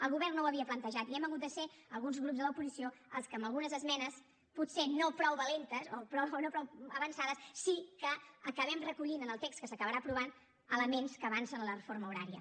el govern no ho havia plantejat i hem hagut de ser alguns grups de l’oposició els que amb algunes esmenes potser no prou valentes o no prou avançades sí que acabem recollint en el text que s’acabarà aprovant elements que avancen la reforma horària